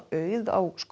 auð á